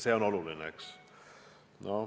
See on oluline, eks.